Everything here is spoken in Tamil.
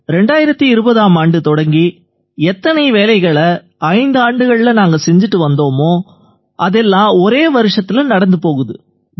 2020ஆம் ஆண்டு தொடங்கி எத்தனை வேலைகளை ஐந்தாண்டுகள்ல நாங்க செஞ்சிட்டு வந்தோமோ அதெல்லாம் ஒரே வருஷத்தில நடந்து போகுது